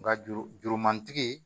Nga juru jurumantigi